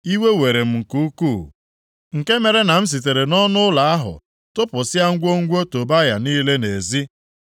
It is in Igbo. Iwe were m nke ukwuu, nke mere na m sitere nʼọnụụlọ ahụ tụpụsịa ngwongwo Tobaya niile nʼezi.